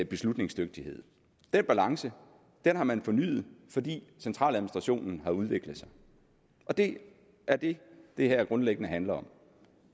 beslutningsdygtighed den balance har man fornyet fordi centraladministrationen har udviklet sig og det er det det her grundlæggende handler om